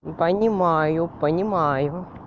не понимаю понимаю